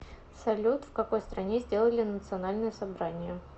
салют в какой стране сделали национальное собрание